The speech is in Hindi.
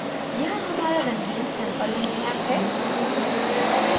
यहाँ हमारा रंगीन sample routemap है